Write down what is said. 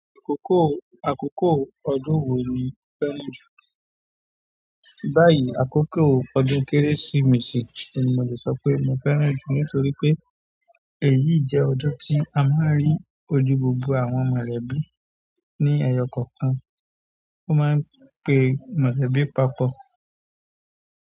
Àkókò, àkókò ọdún wo ni o fẹ́ràn jù? Báyìí, àkókò ọdún Kérésìmesì ni mo le sọ pé mo fẹ́ràn jù nítorí pé èyí jẹ́ ọdún tí a máa ń rí ojú gbogbo àwọn mọ̀lẹ́bí ní ẹyọ kọ̀ọ̀kan, wọn máa ń pe mọ̀lẹ́bí papọ̀.